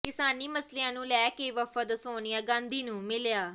ਕਿਸਾਨੀ ਮਸਲਿਆਂ ਨੂੰ ਲੈ ਕੇ ਵਫ਼ਦ ਸੋਨੀਆ ਗਾਂਧੀ ਨੂੰ ਮਿਲਿਆ